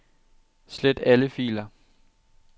Slet alle filer.